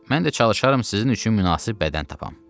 Mən də çalışaram sizin üçün münasib bədən tapam.